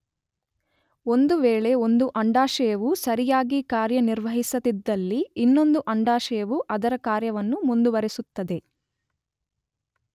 ಒಂದು ವೇಳೆ ಒಂದು ಅಂಡಾಶಯವು ಸರಿಯಾಗಿ ಕಾರ್ಯನಿರ್ವಹಿಸದಿದ್ದಲ್ಲಿ ಇನ್ನೊಂದು ಆಂಡಾಶಯವು ಅದರ ಕಾರ್ಯವನ್ನು ಮುಂದುವರೆಸುತ್ತದೆ.